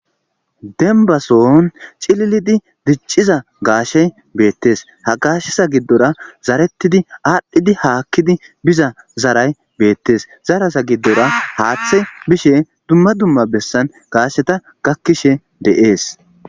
Denbason cililidi dicciza gaashey beettes ha gaashesa giddora zarettidi aadhdhidi haakkidi biza zaray beettes zarasa giddora haaththe bishe dumma dumma bessan gaasheta gakkishe deees.